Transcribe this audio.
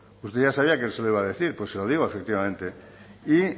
usted ya sabía que se lo iba a decir pues se lo digo efectivamente y